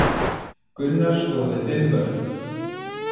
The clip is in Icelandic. Gunnar skoraði fimm mörk